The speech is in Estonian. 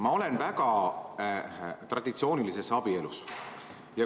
Ma olen väga traditsioonilises abielus.